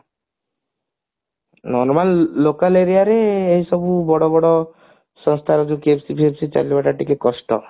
ନହେଲେ local aria ରେ ଏଇସବୁ ବଡ ବଡ ସଂସ୍ଥା ଯୋଉ KFC ଫେଏପସି ଚାଲିବାଟା ଟିକେ କଷ୍ଟ